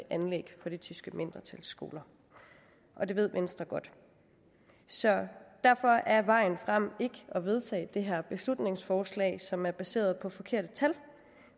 anlæg på det tyske mindretals skoler og det ved venstre godt så derfor er vejen frem ikke at vedtage det her beslutningsforslag som er baseret på forkerte tal